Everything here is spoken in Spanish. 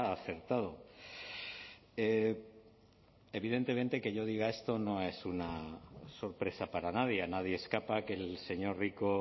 acertado evidentemente que yo diga esto no es una sorpresa para nadie a nadie escapa que el señor rico